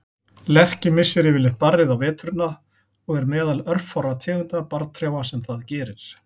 Lerki missir yfirleitt barrið á veturna og er meðal örfárra tegunda barrtrjáa sem það gerir.